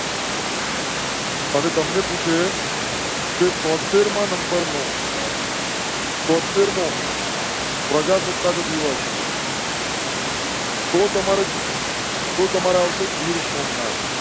અને તમ ને પૂછે છે તો તેર માં નંબર નો. તો તેર મો. પ્રજાસત્તાક દિવસ. તો તમારા. તો તમારા આવશે. ગીર સોમનાથ.